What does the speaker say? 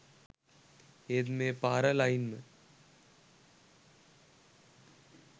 ඒත් මේ පාර ලයින්ම